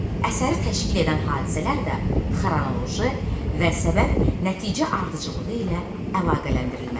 Əsəri təşkil edən hadisələr də xronoloji və səbəb-nəticə ardıcıllığı ilə əlaqələndirilməlidir.